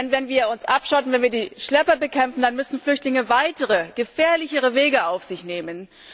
Denn wenn wir uns abschotten, wenn wir die Schlepper bekämpfen, dann müssen Flüchtlinge weitere, gefährlichere Wege auf sich nehmen.